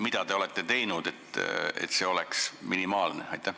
Mida te olete teinud, et see oleks minimaalne?